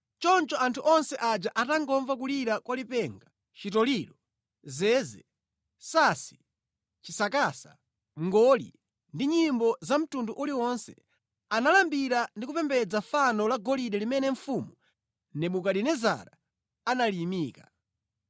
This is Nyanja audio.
Choncho anthu onse aja atangomva kulira kwa lipenga, chitoliro, zeze, sansi, chisakasa, mngoli ndi nyimbo za mtundu uliwonse, analambira ndi kupembedza fano la golide limene mfumu Nebukadinezara analiyimika.